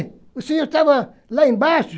E o senhor estava lá embaixo.